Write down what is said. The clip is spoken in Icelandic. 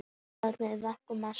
Álitið: Hver vekur mesta athygli?